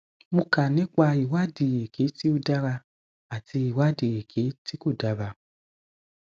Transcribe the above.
mo kà nípa ìwádìí èké tí ò dára àti ìwádìí èké tí kò dára